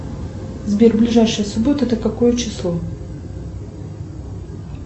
сбер ближайшая суббота это какое число